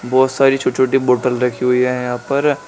बहोत सारी छोटी छोटी बॉटल रखी हुई है यहां पर।